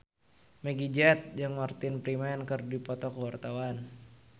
Meggie Z jeung Martin Freeman keur dipoto ku wartawan